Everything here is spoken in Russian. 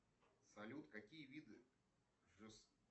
салют какие виды